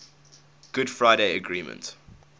good friday agreement